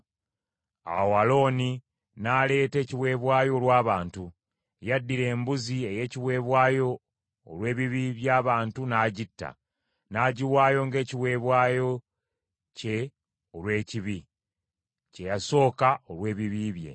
Awo Alooni n’aleeta ekiweebwayo olw’abantu. Yaddira embuzi ey’ekiweebwayo olw’ebibi by’abantu n’agitta, n’agiwaayo ng’ekiweebwayo kye olw’ekibi, kye yasooka olw’ebibi bye.